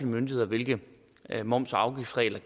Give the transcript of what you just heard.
myndigheder hvilke moms og afgiftsregler